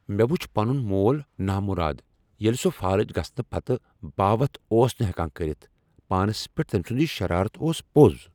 مےٚ وچھ پنن مول نامراد ییٚلہ سہ فالج گژھنہٕ پتہٕ باوتھ اوس نہ ہیکان کٔرِتھ۔ پانس پیٹھ تمۍ سنٛد یہ شرارت اوس پوٚز۔